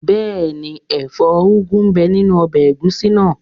Bẹ́ẹ̀ni, ẹ̀fọ́ úgu ń bẹ nínu ọbẹ̀ ẹ̀gúsí náà